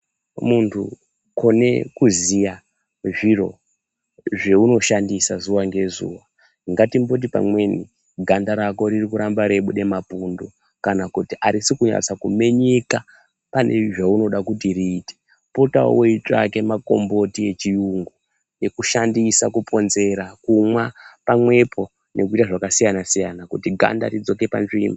Muntu kone kuziya zviro zveunoshandisa zuva ngezuva ngatimboti pamweni ganda rako ririkuramba reibuda mapundu, kana kuti harusi kunyanya kumenyeka pane zvaunoda kuti riite. Potavo uitsvake makomboti echiyungu ekushandisa kuponzera, kumwa pamwepo nekuita zvakasiyana-siyana kuti ganda ridzoke panzvimbo.